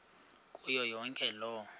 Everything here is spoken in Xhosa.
kuyo yonke loo